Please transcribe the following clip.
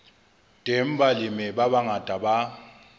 teng balemi ba bangata ba